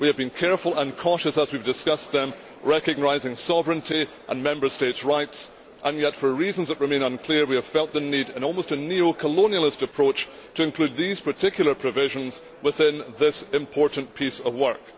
we have been careful and cautious as we have discussed them, recognising sovereignty and Member Statesʼ rights, and yet for reasons that remain unclear we have felt the need, in almost a neo colonialist approach, to include these particular provisions within this important piece of work.